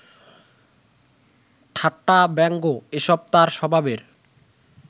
ঠাট্টা, ব্যঙ্গ এসব তাঁর স্বভাবের